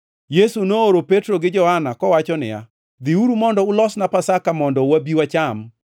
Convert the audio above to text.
Yesu nooro Petro gi Johana, kowacho niya, “Dhiuru mondo ulosnwa Pasaka mondo wabi wacham.”